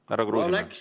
Härra Kruusimäe!